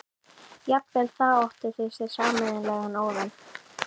Jafnvel þá áttu þau sér sameiginlegan óvin.